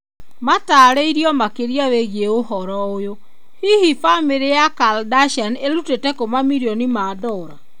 Mataarerio makĩria wĩgiĩ ũhoro ũyũ . Hihi famĩrĩ ya Kardashian ĩrutĩte kũ mamirioni ma dora?